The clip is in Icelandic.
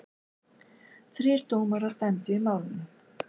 Þrír dómarar dæmdu í málinu.